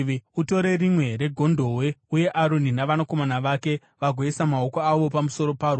“Utore rimwe regondobwe, uye Aroni navanakomana vake vagoisa maoko avo pamusoro paro.